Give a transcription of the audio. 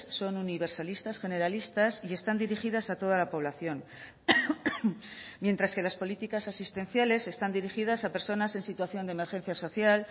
son universalistas generalistas y están dirigidas a toda la población mientras que las políticas asistenciales están dirigidas a personas en situación de emergencia social